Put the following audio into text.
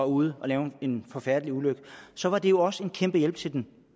ude at lave en forfærdelig ulykke så var det jo også en kæmpe hjælp til den